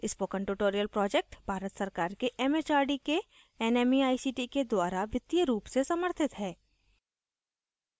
spoken tutorial project Bharat सरकार के M H R D के nmeict के द्वारा वित्तीय रूप से समर्थित है